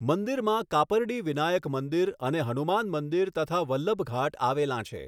મંદિરમાં કાપરડી વિનાયક મંદિર અને હનુમાન મંદિર તથા વલ્લભઘાટ આવેલાં છે.